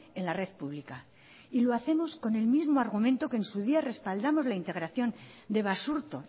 en la red pública y lo hacemos con el mismo argumento que en su día respaldamos la integración de basurto